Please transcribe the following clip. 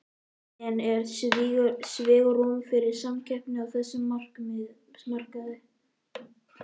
En er svigrúm fyrir samkeppni á þessum markaði?